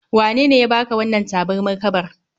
Wanene ya baka wannan tabarmar kabar?